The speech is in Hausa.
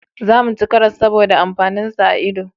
Za mu ci karas saboda amfanin sa a ido